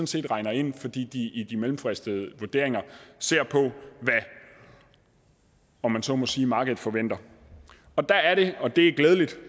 set regner ind fordi de i de mellemfristede vurderinger ser på hvad om man så må sige markedet forventer og der er det og det er glædeligt